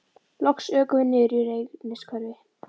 Loks ökum við niður í Reynishverfi.